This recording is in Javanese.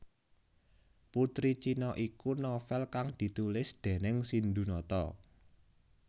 Putri Cina iku novel kang ditulis déning Sindhunata